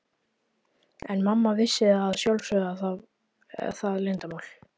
En mamma vissi að sjálfsögðu það leyndarmál.